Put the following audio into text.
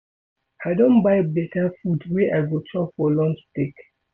I don buy beta food wey I go chop for lunch break.